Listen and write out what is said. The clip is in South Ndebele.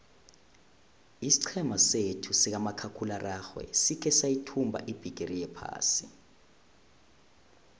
isiqhema sethu sikamakhakhulararhwe sikhe sayithumba ibhigiri yephasi